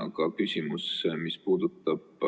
Aga mis puudutab